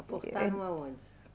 Aportaram aonde?